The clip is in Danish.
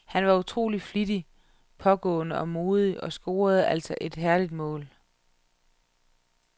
Han var utroligt flittig, pågående og modig og scorede altså et herligt mål.